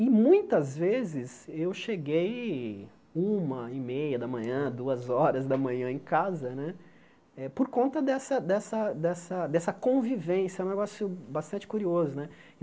E muitas vezes eu cheguei uma e meia da manhã, duas horas da manhã em casa né, eh por conta dessa dessa dessa dessa convivência, um negócio bastante curioso né.